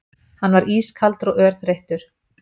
Hann var ískaldur og örþreyttur.